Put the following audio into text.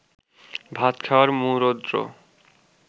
ভাত খাওয়ার মূরোদ্র্র